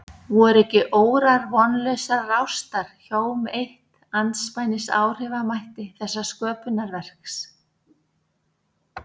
Voru ekki órar vonlausrar ástar hjóm eitt andspænis áhrifamætti þessa sköpunarverks?